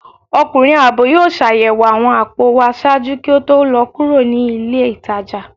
Ọkunrin aabọ yóò ṣayẹwo awọn apò wa ṣaaju ki o to lọ kuro ni ile itaja